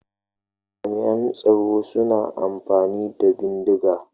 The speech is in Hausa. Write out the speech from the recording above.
Jami'an tsaro suna amfani da bindiga.